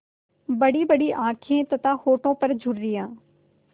बड़ीबड़ी आँखें तथा होठों पर झुर्रियाँ